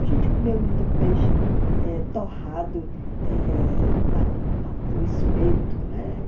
A gente comeu muito peixe eh torrado eh no espeto, né?